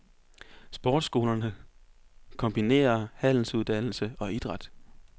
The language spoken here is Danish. Sportsskolerne kombinerer handelsuddannelse og idræt.